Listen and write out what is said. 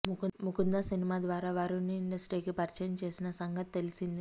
Mukunda cinema ద్వారా వరుణ్ ని ఇండస్ట్రీకి పరిచయం చేసిన సంగతి తెలిసిందే